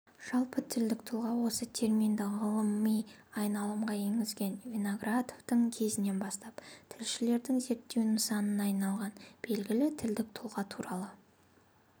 жалпы тілдік тұлға осы терминді ғылыми айналымға енгізген виноградовтың кезінен бастап тілшілердің зерттеу нысанына айналғаны белгілітілдік тұлға туралы